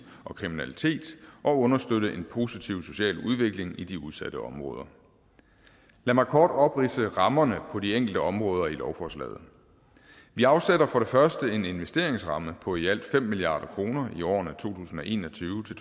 og kriminalitet og understøtte en positiv social udvikling i de udsatte områder lad mig kort opridse rammerne for de enkelte områder i lovforslaget vi afsætter for det første en investeringsramme på i alt fem milliard kroner i årene to tusind og en og tyve til